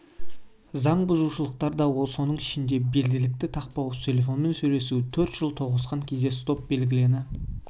заң бұзушылықтар да соның ішінде белдікті тақпау телефонмен сөйлесу төрт жол тоғысқан кезде стоп белгіні